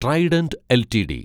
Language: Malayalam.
Trident LTD